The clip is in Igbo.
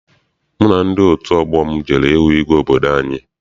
Mụ na ndị otu ọgbọ m jere hụ igwe obodo anyị.